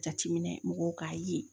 Jateminɛ mɔgɔw k'a ye